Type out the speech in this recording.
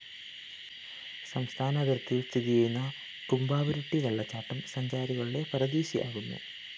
സംസ്ഥാന അതിര്‍ത്തിയില്‍ സ്ഥിതി ചെയ്യുന്ന കുംഭാവുരുട്ടി വെള്ളച്ചാട്ടം സഞ്ചാരികളുടെ പറുദ്ദീസയാകുന്നു